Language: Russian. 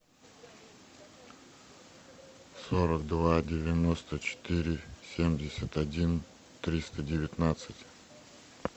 сорок два девяносто четыре семьдесят один триста девятнадцать